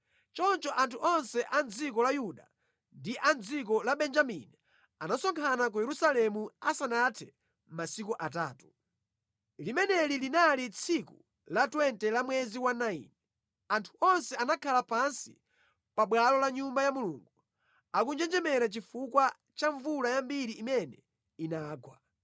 Choncho anthu onse a mʼdziko la Yuda ndi a mʼdziko la Benjamini anasonkhana ku Yerusalemu asanathe masiku atatu. Limeneli linali tsiku la 20 la mwezi wa 9. Anthu onse anakhala pansi pa bwalo la Nyumba ya Mulungu akunjenjemera chifukwa cha mvula yambiri imene inagwa.